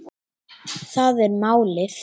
Það er málið